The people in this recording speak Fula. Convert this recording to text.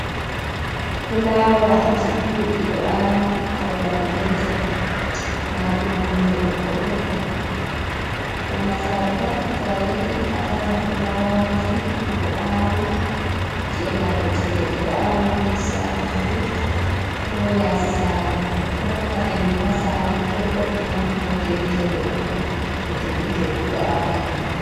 Fulawaaji ɗuɗɗi ɗo awi ha babal gotel marɗum nonde ɓokko ɓokko, ɓurna sare pat to a yahi a tawan fulawaji ɗi ɗo awi, cie marɓe cede ɗi ɗo awi ha nder sare maɓbe ko yasi sare, doy hokka hendu ha sare, ɗo vo’ina nonde gitte goɗɗo bo gitte ɓiɗɗo adama.